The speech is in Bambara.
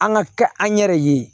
An ka kɛ an yɛrɛ ye